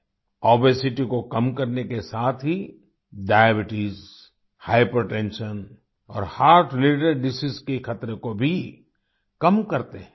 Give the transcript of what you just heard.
obesity को कम करने के साथ ही डायबीट्स हाइपरटेंशन और हर्ट रिलेटेड डिसीज के खतरे को भी कम करते हैं